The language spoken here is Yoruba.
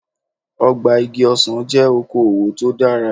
Ọgbà igi ọsàn jẹ́ oko òwò tó dára.